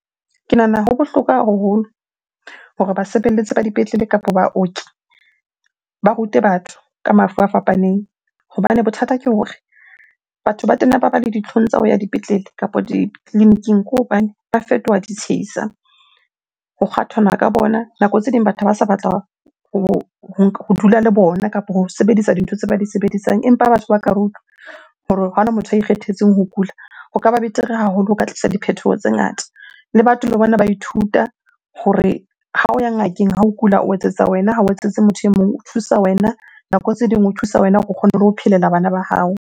Ke nahana ho bohlokwa haholo hore basebeletsi ba dipetlele kapa baoki ba rute batho ka mafu a fapaneng. Hobane bothata ke hore batho ba tena ba ba le ditlhong tsa ho ya dipetlele kapa ditleliniking ke hobane ba fetoha di tshehisa, ho kgathwana ka bona. Nako tse ding batho ba sa batla ho dula le bona kapo ho sebedisa dintho tse ba di sebedisang. Empa batho ha ba ka rutwa hore ha hona motho a ikgethetseng ho kula, ho ka ba betere haholo, ho ka tlisa diphethoho tse ngata. Le batho le bona ba ithuta hore ha o ya ngakeng ha o kula, o etsetsa wena ha o etsetse motho e mong. O thusa wena, nako tse ding o thusa wena o kgone le ho phelela bana ba hao.